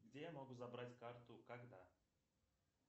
где я могу забрать карту когда